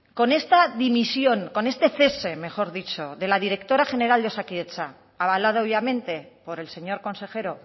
con esta dimisión con este cese mejor dicho de la directora general de osakidetza avalado obviamente por el señor consejero